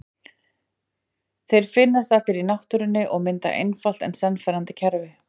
Þeir finnast allir í náttúrunni og mynda einfalt en sannfærandi kerfi.